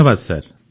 ଧନ୍ୟବାଦ ସାର୍